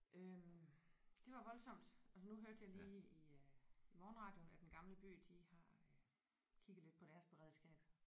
Øh det var voldsomt og så nu hørte jeg lige i øh i morgenradioen at Den Gamle By de har øh kigget lidt på deres beredskab